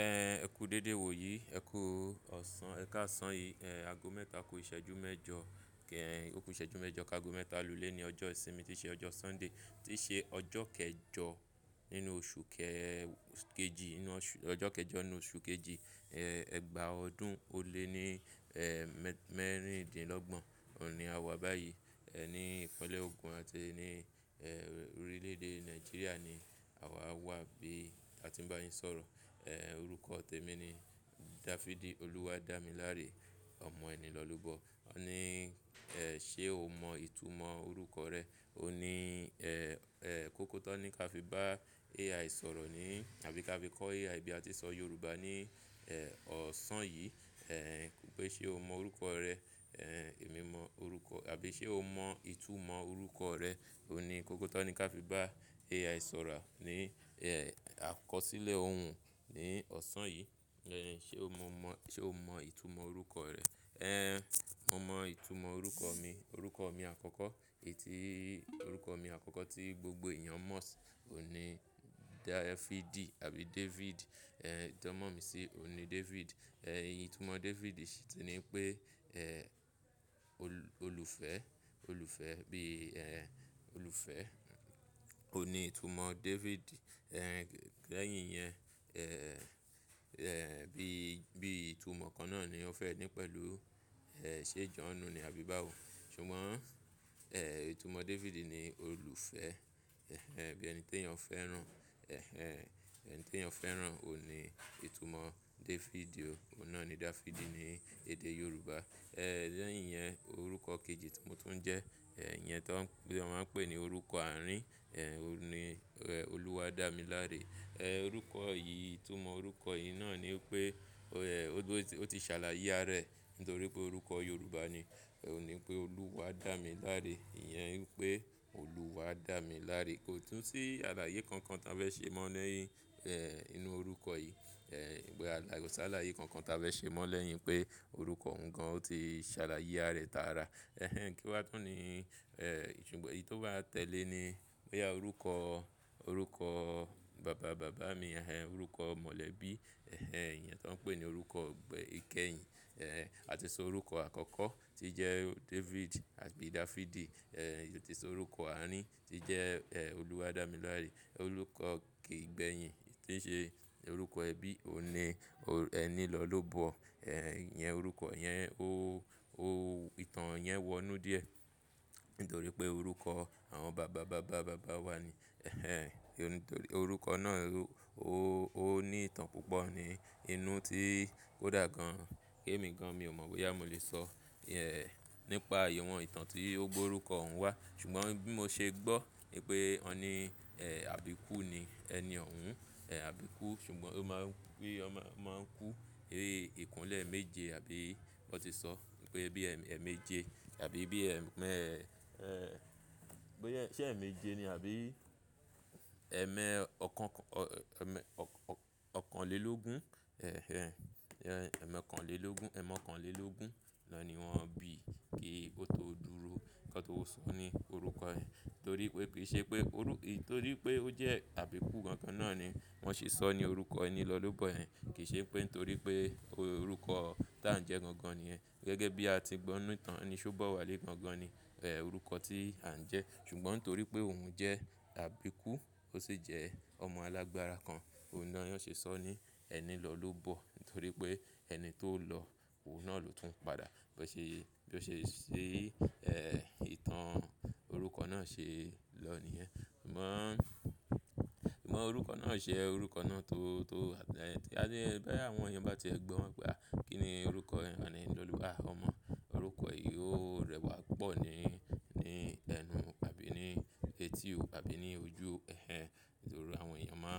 Ẹ̀ ẹ kú dédé wò yí, ẹ kú ọ̀sán, ẹ ká sán yìí. Ẹ̀ ago mẹ́ta ku ìṣẹ́jú mẹ́jọ kẹ́hìn, òpin ìṣẹ́jú mẹ́jọ ká ago mẹ́ta lulé ni ọjọ́ ìsinmi tí ṣe ọjọ́ Sunday tí ṣe ọjọ́ kẹjọ nínú oṣù kẹ-- kejì nínú oṣù, ọjọ́ kẹjọ nínú oṣù kejì. Ẹ̀ ẹgba ọdún ò lé ní ẹ̀ mẹ́rin-din-lọ́gbọ̀n. Ọ̀un ní a wà báyìí. Ẹ̀ ní ìpínlẹ̀ Ogun àti ní ẹ̀ orílẹ̀-èdè Nàìjíríà ni àwa wà bí a ti ń bá yín sọ̀rọ̀. Ẹ̀ orúkọ tèmi ni Dafidi Oluwadámiláré ọmọ ẹni lọlúbọ. Ó ní ẹ̀ ṣe o mọ ìtumọ̀ orúkọ rẹ? Ó ní ẹ̀, ẹ̀ kóko tó ní ká fi bá AI sọ̀rọ̀ ní àbí ká fi kọ́ AI bí a ti ń sọ Yorùbá ní ẹ̀ ọ̀sán yìí. Ẹ̀ pé ṣe o mọ orúkọ rẹ? Ẹ̀ èmi mọ orúkọ-- àbí ṣe o mọ ìtumọ̀ orúkọ rẹ? Óun ní kóko tan ni ká fi bá AI sọ̀rọ̀ ní ẹ̀ àkọsílẹ̀ òhun ní ọ̀sán yìí. Ẹ̀ ṣe o mọ mọ-- ṣe o mọ ìtumọ̀ orúkọ rẹ? Ẹ̀ mọ̀ mọ ìtumọ̀ orúkọ mi. Orúkọ mi àkọ́kọ́, èyi tí orúkọ mi àkọ́kọ́ tí gbogbo èèyàn mọ̀ sí òní Dafidi àbí David. Ẹ̀ ìtanmọ̀ mi sí ní David. Ẹ̀ ìtumọ̀ David sì ti ní pé ẹ̀ olú- olùfẹ́, olùfẹ́ bí ẹ̀ olùfẹ́. Ó ní ìtumọ̀ David. Ẹ̀ lẹ́yìn yẹn ẹ̀, ẹ̀ bí, bí ìtumọ̀ kan náà ni ó fẹ́ ní pẹ̀lú ẹ̀ ṣe John ni àbí báwo. Ṣùgbọ́n ẹ̀ ìtumọ̀ David ni olùfẹ́. Ẹ̀hẹn bí ẹni tí èèyàn fẹ́ràn. Ẹ̀hẹn ẹni tí èèyàn fẹ́ràn. Óun ní ìtumọ̀ David o. Óun náà ni Dafidi ní èdè Yorùbá. Ẹ̀ lẹ́yìn yẹn orúkọ kejì tí mo tún ń jẹ́. Ẹ̀ yẹn tó ń pé, wọn máa ń pè ní orúkọ àárín. Ẹ̀ òní ẹ̀ Oluwadámiláré. Ẹ̀ orúkọ yìí, ìtumọ̀ orúkọ yìí náà ni pé o-- ẹ̀ ó ti, ó ti ṣàlàyé ara ẹ̀ nítorí pé orúkọ Yorùbá ni. Ó ní pé Oluwadámiláré. Iyẹn wípé olúwa dá mi láré. Kò tún sí àlàyé kankan tá fẹ́ ṣe mọ́ lẹ́yìn ẹ̀ inú orúkọ yìí. Ko ṣàlàyé kankan tó á fẹ́ ṣe mọ́ lẹ́yìn pé orúkọ òun gan-an ó ti ṣàlàyé ara rẹ̀ tára. Ẹ̀hẹn kí wá tunni. Ẹ̀ ṣùgbọ́n èyí tó bá tẹ̀lé ni bóyá orúkọ, orúkọ bàba bàbá mi. Ẹ̀hẹn orúkọ mọ̀lẹ́bí. Ẹ̀hẹn ìyẹn tó ń pè ní orúkọ ìgbẹ́ ikẹ́hìn. Ẹ̀ a ti sọ orúkọ àkọ́kọ́ tí jẹ́ David àbí Dafidi. Ẹ̀ ó ti sọ orúkọ àárín tí jẹ́ ẹ̀ Oluwadámiláré. Orúkọ igbẹ́yín tí ń ṣe orúkọ ẹbí òun ní o-- ẹnilọlobọ. Ẹ̀hẹn ìyẹn orúkọ yẹn ó, ó ìtàn yẹn wọnú díẹ̀ nítorí pé orúkọ àwọn bàba bàbá bàbá wa ni. Ẹ̀hẹn nítorí orúkọ náà ó, ó ní ìtàn púpọ̀ ní inú tí kodà gan-an. Kí èmi gan-an mi ò mọ̀ bóyá mo lè sọ ẹ̀ nípa ìwọ̀n ìtàn tí o gb'orúkọ òun wà. Ṣùgbọ́n bí mo ṣe gbọ́ pé wọ̀n ní ẹ̀ àbíkú ni. Ẹni òun ẹ̀ àbíkú. Ṣùgbọ́n ó máa ń pé ọmọ máa ń kú. Ẹ̀ ìkúnlé méje àbí wọ́n ti sọ pé bí ẹ́ẹ̀mẹ́ je àbí bí ẹ́ẹ̀mẹ́ ẹ̀ pé ṣe ẹ̀ẹ̀mẹ́je ni àbí ẹ̀ẹ̀mẹ́ ọkàn, ọ-- ẹ̀ẹ̀mẹ́ ọkànlelógún. Ẹ̀hẹn, ẹ́ẹ̀mẹ́ ọkànlelógún, ẹmọ̀kànlelógún lọ ní wọ́n bí kí ó tó dúró kí ó tó sọ ní orúkọ yen torí pé kì í ṣe pé orú-- èyí torí pé ó jẹ́ àbíkú gangan náà ni wọ́n ṣe sọ ní orúkọ ẹni lọlobọ yẹn. Kì í ṣe pé nítorí pé orúkọ tá ń jẹ́ gangan nìyẹn. Gẹ́gẹ́bí a ti gbọ́ n'nu ítàn ni. Ṣé ó bá wá lé gangan ni ẹ̀ orúkọ tí à ń jẹ́. Ṣùgbọ́n torí pé òun jẹ́ àbíkú ó sì jẹ́ ọmọ alágbára kan. Óun náà ni wọ́n ṣe sọ ní ẹni lọlúbọ. Nítorí pé ẹni tó lọ òun náà ló tún padà. Bó ṣe, bó ṣe ṣí ẹ̀ ìtàn orúkọ náà ṣe lọ niyen. Ṣùgbọ́n, ṣùgbọ́n orúkọ náà ṣe orúkọ náà tó, tó-- ẹni tí a dé, báwọn èèyàn bá ti ẹ̀ gbọ́ pé à kí ni orúkọ yen? Maa ni eniọlúwa ọmọ orúkọ yìí ó rẹwà pọ̀ ni, ní ẹnu àbí ní etí ò àbí ní ojú. Ẹ̀hẹn nítorí àwọn èèyàn máà,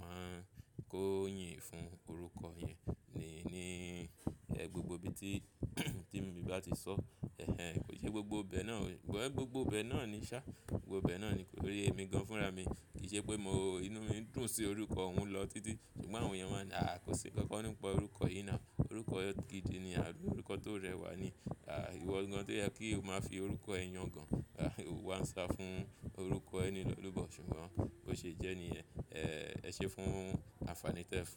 máa ń kó yìnyín fún orúkọ yẹn ni, ní ẹ́ gbogbo ibi tí, tí èmi bá ti sọ. Ẹ̀hẹn kò ṣe gbogbo ibẹ̀ náà ò-- well gbogbo ibẹ̀ náà ni ṣa. Gbogbo ibẹ̀ náà ni tori emi gan-an fúnra mi. Kì í ṣe pé mo inú mí ń dùn sí orúkọ òun lọ títí. Ṣùgbọ́n àwọn èèyàn máà ńi "à kò ṣi nǹkankan nípa orúkọ yìí now." Orúkọ gídì ní àbi orúkọ tó rẹwà ni. À ìwọ gan-an toyẹ kí o máa fi orúkọ ẹ yan gan-an. O wá ń sá fún orúkọ ẹnilọlobọ. Ṣùgbọ́n bó ṣe jẹ́ níyẹ̀n, ẹ̀ ẹ ṣe fún anfaani tí ẹ ń fún.